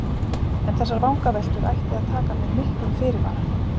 En þessar vangaveltur ætti að taka með miklum fyrirvara.